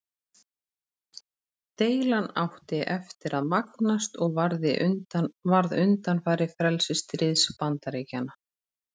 Deilan átti eftir að magnast og varð undanfari frelsisstríðs Bandaríkjanna.